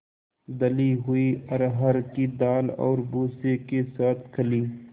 दली हुई अरहर की दाल और भूसे के साथ खली